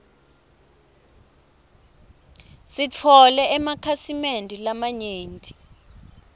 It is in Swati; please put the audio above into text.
sitfole emakhasi mende lamanyenti